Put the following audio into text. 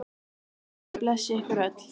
Góður guð blessi ykkur öll.